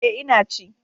E, Ina ci.